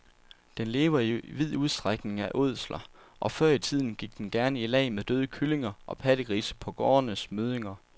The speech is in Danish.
Den lever i vid udstrækning af ådsler, og før i tiden gik den gerne i lag med døde kyllinger og pattegrise på gårdenes møddinger.